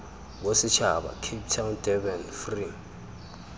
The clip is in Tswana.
bosetšhaba cape town durban free